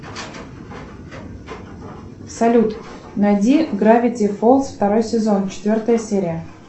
салют найди гравити фолз второй сезон четвертая серия